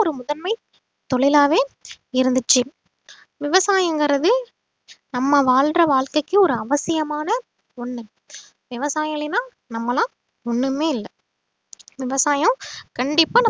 ஒரு முதன்மை தொழிலாவே இருந்துச்சு விவசாயம்கிறது நம்ம வாழுற வாழ்க்கைக்கு ஒரு அவசியமான ஒண்ணு விவசாயம் இல்லைன்னா நம்மளா ஒண்ணுமே இல்லை விவசாயம் கண்டிப்பா